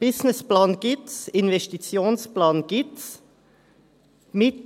Einen Businessplan gibt es, einen Investitionsplan gibt es auch.